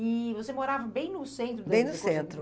E você morava bem no centro... Bem no centro.